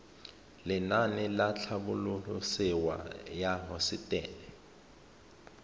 lenaane la tlhabololosewa ya hosetele